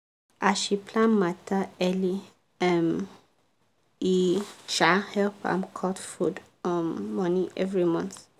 as she plan matter early um e um help am cut food um money everymonth.